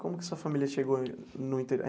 Como que sua família chegou no interior?